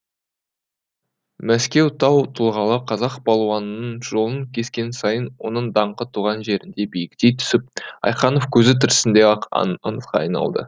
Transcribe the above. мәскеу тау тұлғалы қазақ балуанының жолын кескен сайын оның даңқы туған жерінде биіктей түсіп айханов көзі тірісінде ақ аңызға айналды